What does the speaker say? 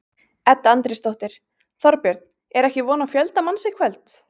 Edda Andrésdóttir: Þorbjörn, er ekki von á fjölda manns í kvöld?